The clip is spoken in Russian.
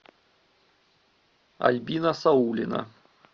альбина саулина